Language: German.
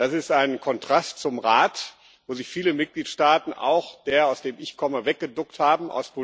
Das ist ein Kontrast zum Rat, wo sich viele Mitgliedstaaten, auch der, aus dem ich komme, weggeduckt haben.